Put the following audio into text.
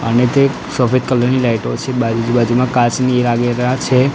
અને તે સફેદ કલર ની લાઈટો છે બહારની બાજુમાં કાચની એ લાગેલા છે.